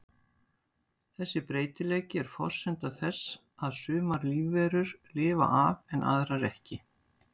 Þessi breytileiki er forsenda þess að sumar lífverur lifa af en aðrar ekki.